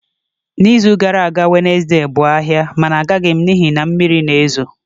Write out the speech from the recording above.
N'izu gara aga Wednesday bụ ahịa mana agaghị m n'ihi na mmiri na-ezo